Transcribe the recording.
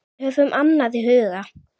Höfum annað í huga.